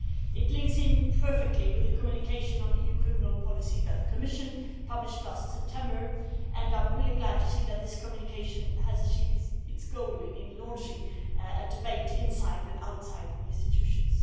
It links in perfectly with the communication on EU criminal policy that the Commission published last September, and I am really glad to see that this communication has achieved its goal in launching a debate inside and outside the institutions.